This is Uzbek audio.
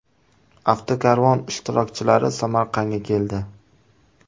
Avtokarvon ishtirokchilari Samarqandga keldi.